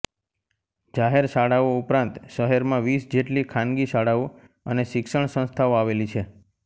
જાહેર શાળાઓ ઉપરાંત શહેરમાં વીસ જેટલી ખાનગી શાળાઓ અને શિક્ષણ સંસ્થાઓ આવેલી છે